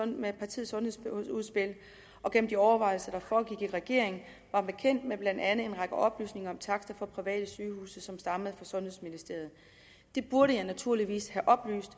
med partiets sundhedsudspil og gennem de overvejelser der foregik i regeringen var bekendt med blandt andet en række oplysninger om takster for private sygehuse som stammede fra sundhedsministeriet det burde jeg naturligvis have oplyst